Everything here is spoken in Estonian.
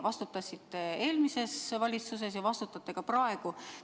Vastutasite eelmises valitsuses ja vastutate ka praegu.